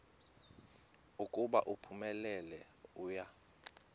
ukuba uphumelele uya